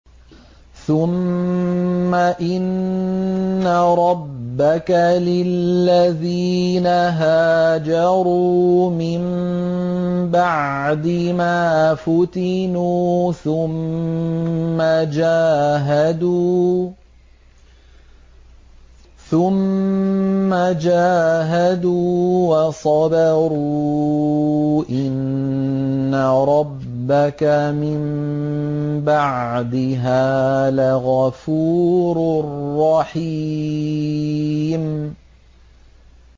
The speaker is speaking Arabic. ثُمَّ إِنَّ رَبَّكَ لِلَّذِينَ هَاجَرُوا مِن بَعْدِ مَا فُتِنُوا ثُمَّ جَاهَدُوا وَصَبَرُوا إِنَّ رَبَّكَ مِن بَعْدِهَا لَغَفُورٌ رَّحِيمٌ